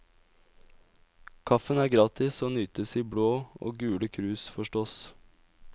Kaffen er gratis og nytes i blå og gule krus forstås.